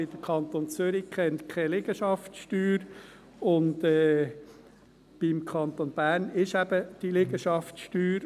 Denn der Kanton Zürich kennt keine Liegenschaftssteuer, und im Kanton Bern gibt es eben diese Liegenschaftssteuer.